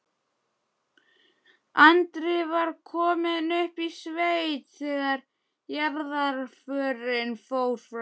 Andri var kominn upp í sveit þegar jarðarförin fór fram.